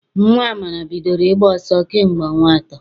Nnwa Amara bidoro ịgba ọsọ kamgbe ọnwa atọ.